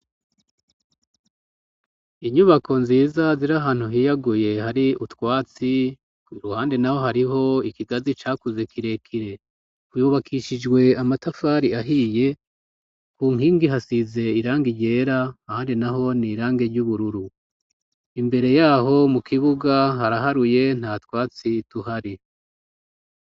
Inyubako nziza ziri ahantu hiyaguye hari utwatsi ,iruhande naho hariho ikigazi cakuze kirekire ,uyubakishijwe amatafari ahiye, ku nkingi hasize irangi ryera ahandi naho ni irangi ry'ubururu ,imbere yaho mu kibuga haraharuye nta twatsi tuhari.